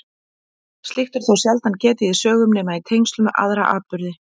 Slíks er þó sjaldan getið í sögum nema í tengslum við aðra atburði.